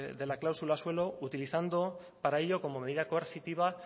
de la cláusula suelo utilizando para ello como medida coercitiva